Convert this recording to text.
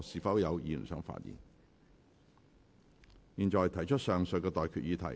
我現在向各位提出上述待決議題。